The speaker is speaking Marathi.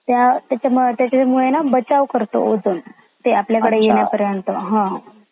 त्याचामुळे ना बाजचव करता ते ओझोन ते आपल्या कड़े येण्या पर्यंत